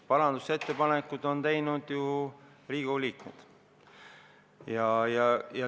Parandusettepanekuid on teinud ju Riigikogu liikmed.